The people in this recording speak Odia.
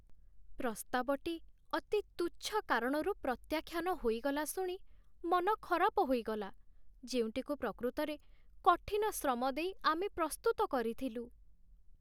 ପ୍ରସ୍ତାବଟି ଅତି ତୁଚ୍ଛ କାରଣରୁ ପ୍ରତ୍ୟାଖ୍ୟାନ ହୋଇଗଲା ଶୁଣି ମନ ଖରାପ ହୋଇଗଲା, ଯେଉଁଟିକୁ ପ୍ରକୃତରେ କଠିନ ଶ୍ରମ ଦେଇ ଆମେ ପ୍ରସ୍ତୁତ କରିଥିଲୁ।